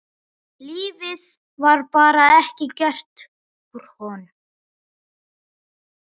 Lífið var bara ekki gert úr honum.